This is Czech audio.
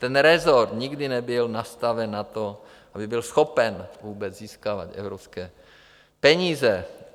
Ten resort nikdy nebyl nastaven na to, aby byl schopen vůbec získávat evropské peníze.